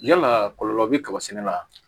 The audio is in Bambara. Yalaa kɔlɔlɔ be kaba sɛnɛ wa